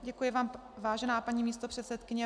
Děkuji vám, vážená paní místopředsedkyně.